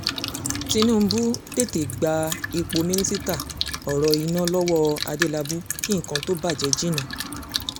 tinúbù tètè gba ipò mínísítà ọ̀rọ̀ iná lọ́wọ́ adélábù kí nǹkan tóo bàjẹ́ jinná